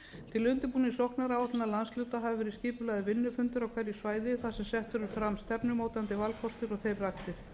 til undirbúnings sóknaráætlun landshluta hafa verið skipulagðir vinnufundir á hverju svæði þar sem sett eru fram stefnumótandi valkostir og þeir ræddir